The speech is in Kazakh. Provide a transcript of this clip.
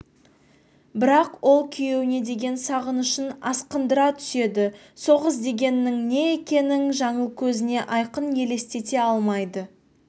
бірақ ол күйеуіне деген сағынышын асқындыра түседі соғыс дегеннің не екенін жаңыл көзіне айқын елестете алмайды